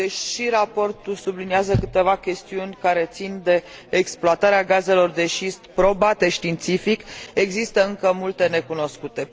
Deși raportul subliniază câteva chestiuni care țin de exploatarea gazelor de șist probate științific, există încă multe necunoscute.